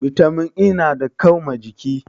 Bitamin E nada kau ma jiki